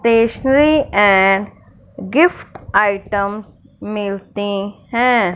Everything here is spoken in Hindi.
स्टेशनरी एंड गिफ्ट आइटम मिलती हैं।